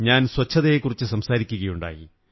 ഞാൻ സ്വച്ഛതയെക്കുറിച്ചു സംസാരിക്കയുണ്ടായി